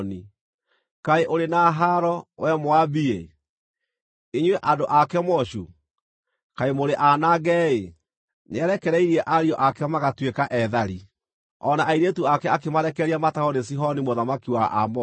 Kaĩ ũrĩ na haaro, wee Moabi-ĩ! Inyuĩ andũ a Kemoshu! Kaĩ mũrĩ aanange-ĩ. Nĩarekereirie ariũ ake magatuĩka eethari, o na airĩtu ake akĩmarekereria matahwo nĩ Sihoni mũthamaki wa Aamori.